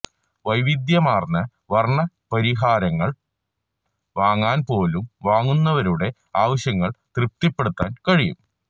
വൈവിധ്യമാർന്ന വർണ പരിഹാരങ്ങൾ വാങ്ങാൻ പോലും വാങ്ങുന്നവരുടെ ആവശ്യങ്ങൾ തൃപ്തിപ്പെടുത്താൻ കഴിയും